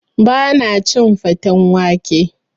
Ba na cin faten wake